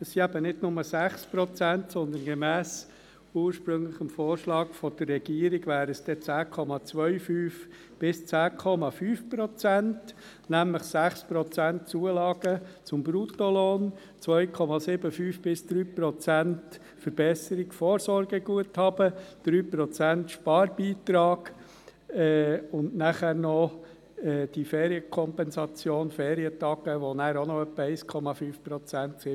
Es sind eben nicht nur 6 Prozent, sondern gemäss dem ursprünglichen Vorschlag der Regierung wären es 10,25–10,5 Prozent, nämlich 6 Prozent Zulagen auf dem Bruttolohn, 2,75–3,0 Prozent Verbesserung des Vorsorgeguthabens, 3 Prozent Sparbeitrag und die Kompensation der Ferientage, die auch noch etwa 1,5 Prozent beträgt.